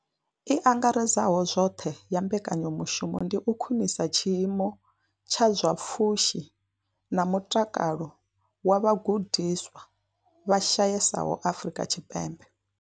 I angaredzaho zwoṱhe ya mbekanyamushumo ndi u khwinisa tshiimo tsha zwa pfushi na mutakalo wa vhagudiswa vha shayesaho Afrika Tshipembe.